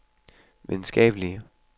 videnskabelige